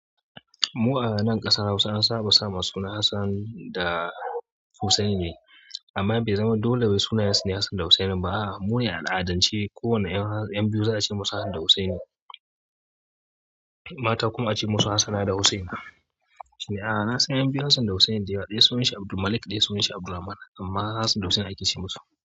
Mu anan ƙasar Hausa an saba sa ma suna Hassan da Hussaini, amma baizama dole wai sunayensu ne Hassan da Hussaini ba. Mu ne a al'adance ko wane 'yan biyu za a ce musu Hassan da Hussaini, mata kuma a ce musu Hassana da Hussaina. Na san 'yan biyu Hassan da Hussaini ɗaya sunan shi Abdulmalik ɗaya sunan shi Abdulrahman amma Hassan da Hussaini aka ce musu.